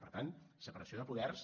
per tant separació de poders